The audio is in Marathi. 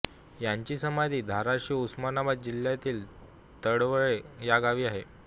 यांची समाधी धाराशिव उस्मानाबाद जिल्ह्यातील तडवळे या गावी आहे